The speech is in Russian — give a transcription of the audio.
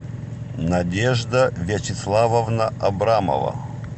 надежда вячеславовна абрамова